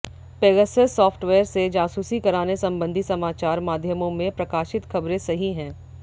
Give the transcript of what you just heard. Pegasus software से जासूसी कराने संबंधी समाचार माध्यमों में प्रकाशित खबरें सही हैं